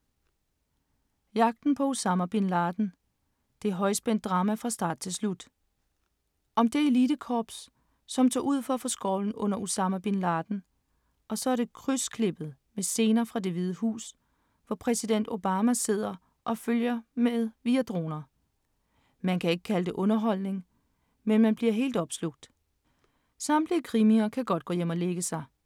Jagten på Osama bin Laden. Det er højspændt drama fra start til slut. Om det elitekorps, som tog ud for at få skovlen under Osama bin Laden, og så er det krydsklippet med scener fra Det Hvide Hus, hvor præsident Obama sidder og følger med via droner. Man kan ikke kalde det underholdning, men man bliver helt opslugt … Samtlige krimier kan godt gå hjem og lægge sig.